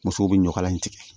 Musow bɛ ɲɔkala in tigɛ